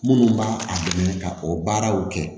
Minnu b'a a dɛmɛ ka o baaraw kɛ